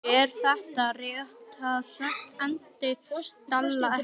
Eða réttara sagt, endaði ekki.